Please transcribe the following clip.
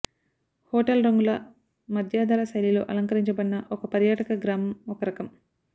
hotel రంగుల మధ్యధరా శైలిలో అలంకరించబడిన ఒక పర్యాటక గ్రామం ఒక రకం